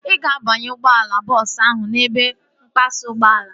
Ị ga-abanye ụgbọala bọọsu ahu n'ebe mpasa ụgbọala